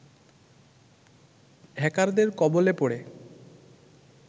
হ্যাকারদের কবলে পড়ে